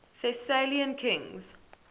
thessalian kings